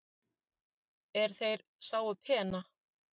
er þeir sáu pena